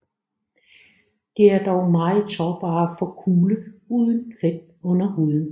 De er dog meget sårbare for kulde uden fedt under huden